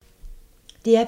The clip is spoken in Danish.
DR P2